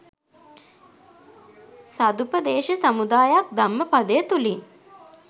සදුපදේශ සමුදායක් ධම්මපදය තුළින්